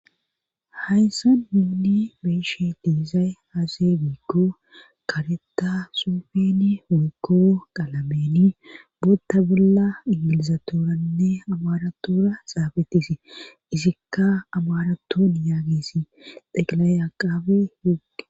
Hayssan yuuni beeshe deezay haase giiggo kareta soufeni wogo qalameni bootta bolla ingilizatooranne amaratoora xaabetisii isikka amaraton yaagisi xeqalay aqaabe hiqe